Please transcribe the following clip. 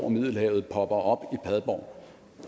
middelhavet popper op i padborg